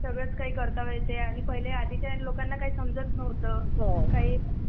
सगळंच काही करता येत आहे म्हणजे आधी लोकांना पण इतकं समजत नव्हतं.